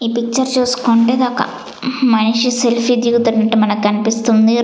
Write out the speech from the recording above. ఈ పిక్చర్ చూసుకుంటే ఇదొక మనిషి సెల్ఫీ దిగుతున్నట్టు మనకు కనిపిస్తుంది.